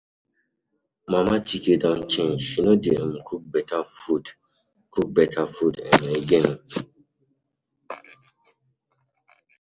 Mama Chike don change. She no dey um cook beta food cook beta food um again.